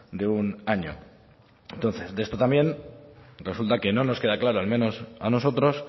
de un año entonces de esto también resulta que no nos queda claro al menos a nosotros